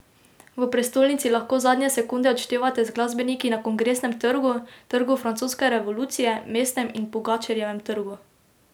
V prestolnici lahko zadnje sekunde odštevate z glasbeniki na Kongresnem trgu, Trgu francoske revolucije, Mestnem in Pogačarjevem trgu.